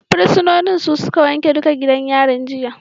Fursunoni su suka wanke duka gidan yari jiya